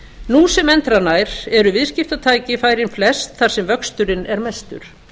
nú sem endranær eru viðskiptatækifærin flest þar sem vöxturinn er mestur